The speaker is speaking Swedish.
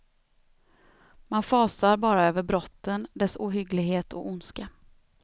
Man fasar bara över brotten, dess ohygglighet och ondska.